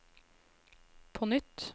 på nytt